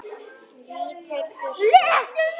Líturðu svo ekki inn?